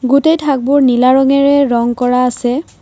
গোটেই থাকবোৰ নীলা ৰঙেৰে ৰং কৰা আছে।